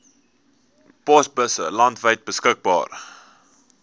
posbusse landwyd beskikbaar